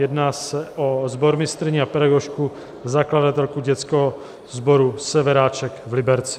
Jedná se o sbormistryni a pedagožku, zakladatelku dětského sboru Severáček v Liberci.